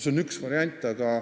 See on üks variant.